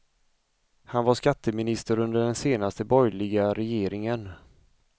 Han var skatteminister under den senaste borgerliga regeringen.